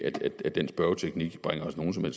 at den spørgeteknik bringer os nogen som